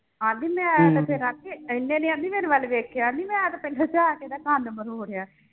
ਆਂਦੀ ਇਹਨੇ ਨੀ ਆਂਦੀ ਮੇਰੇ ਵੱਲ ਵੇਖਿਆ ਨੀ ਮੈਂ ਤੇ ਪਿੰਡ ਜਾ ਕੇ ਕੰਨ ਮਰੋੜਿਆ